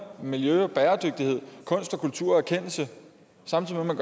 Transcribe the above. miljø og bæredygtighed kunst og kultur og erkendelse samtidig med